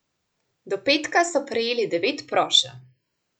Do petka so prejeli devet prošenj.